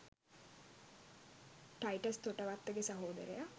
'ටයිටස් තොටවත්තගේ' සහෝදරයා